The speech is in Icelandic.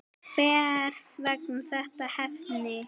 Hvers vegna þetta efni?